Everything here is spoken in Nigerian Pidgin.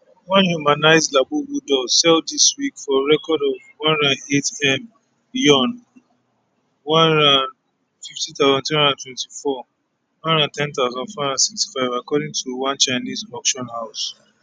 one humansized labubu doll sell dis week for a record one hundred and eight m yuan one hundred and fifty thousand three hundred and twenty four one hundred and ten thousand four hundred and sixty five according to one chinese auction house